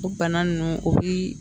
O bana nunnu o bi